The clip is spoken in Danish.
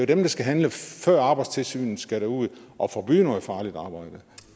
dem der skal handle før arbejdstilsynet skal derud og forbyde noget farligt arbejde